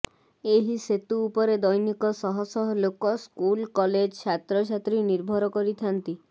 ଏହି ସେତୁ ଉପରେ ଦୈନିକ ଶହଶହ ଲୋକ ସ୍କୁଲ କଲେଜ ଛାତ୍ରଛାତ୍ରୀ ନିର୍ଭର କରିଥାନ୍ତି